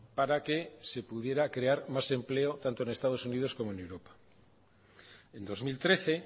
para que se pudiera crear más empleo tanto en estados unidos como en europa en dos mil trece